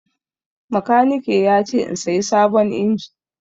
Makaniki ya ce in saya sabon injin.